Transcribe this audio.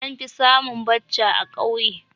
An fi samun Bacha a kauye